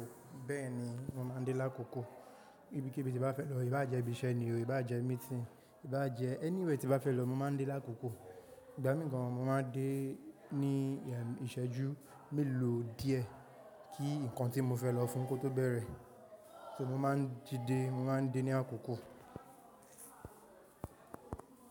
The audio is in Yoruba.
Bẹ́ẹ̀ni, mo máa ń dé lákòókò. Ibikibi tí bá fẹ́ lọ, í bá jẹ́ ibi iṣẹ́ ni o, í bá jẹ́ meeting, í bá jẹ́ anywhere tí bá fẹ́ lọ, mo máa ń dé lákòókò. Ìgbà mìí gan mo máa ń dé ní ìṣẹ́jú mélòó díẹ̀ kí nǹkan tí mo fẹ́ lọ fún kó tó bẹ̀rẹ̀, ṣé mo máa ń di dé, mo máa ń dé ní àkókò?